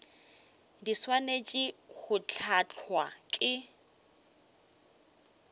di swanetše go hlahlwa ke